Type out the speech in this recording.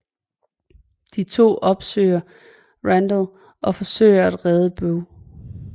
De to opsøger Randall og forsøger at redde Bøh